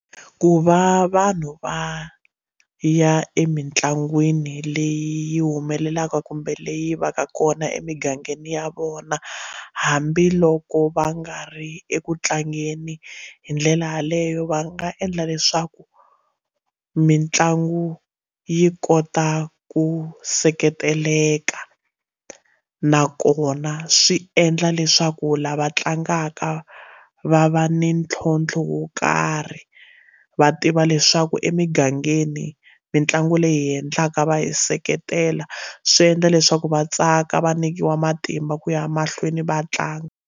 Ku va vanhu va ya emitlangwini leyi humelelaka kumbe leyi va ka kona emigangeni ya vona hambiloko va nga ri eku tlangeni hi ndlela yaleyo va nga endla leswaku mitlangu yi kota ku seketelelaka nakona swi endla leswaku lava tlangaka va va ni ntlhontlho wo karhi va tiva leswaku emigangeni mitlangu leyi endlaka va hi seketela swi endla leswaku va tsaka va nyikiwa matimba ku ya mahlweni va tlanga.